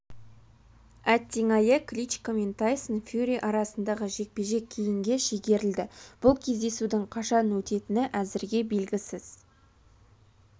әттең-айы кличко мен тайсон фьюри арасындағы жекпе-жек кейінге шегерілді бұл кездесудің қашан өтетіні әзірге белгісіз